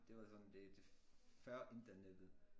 Det var sådan det det før internettet